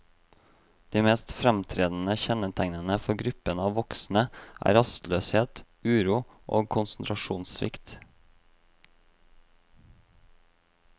De mest framtredende kjennetegnene for gruppen av voksne er rastløshet, uro og konsentrasjonssvikt.